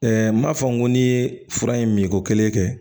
n m'a fɔ n ko ni ye fura in min ko kelen kɛ